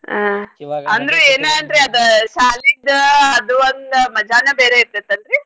ಹಾ ಅಂದ್ರು ಏನ್ ಅಂದ್ರು ಅದ ಶಾಲಿದ ಅದು ಒಂದ್ ಮಜಾನ ಬೇರೆ ಇರ್ತೇತ್ ಅಲ್ರೀ.